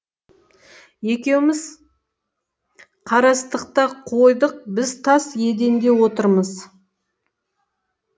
екеуміз қарастық та қойдық біз тас еденде отырмыз